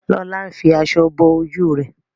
Lola ń fí aṣọ bó ojú rẹ.